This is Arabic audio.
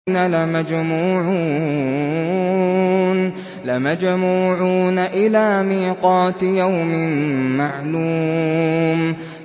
لَمَجْمُوعُونَ إِلَىٰ مِيقَاتِ يَوْمٍ مَّعْلُومٍ